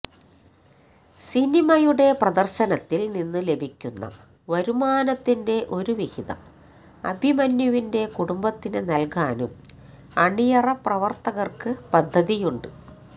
സിനിമയുടെ പ്രദര്ശനത്തില് നിന്നു ലഭിക്കുന്ന വരുമാനത്തിന്റെ ഒരുവിഹിതം അഭിമന്യുവിന്റെ കുടുംബത്തിന് നല്കാനും അണിയറപ്രവര്ത്തകര്ക്ക് പദ്ധതിയുണ്ട്